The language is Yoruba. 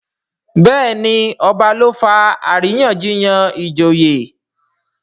Béèni ọba ló fà àríyànjiyàn ìjòyè.